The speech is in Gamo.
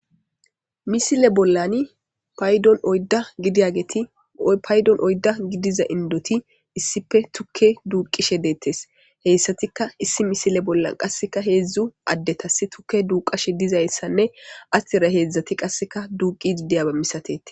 misile bollani paydon oydda gidiyageeti paydon oydda gidiza indoti issipe tukke duuqishe deettes heyssatikka issi misile bollan qasseka heedzdzu addetas tukke duuqashe dizayssanne astira heedzdzati qasseka duuqidi diyaba misatete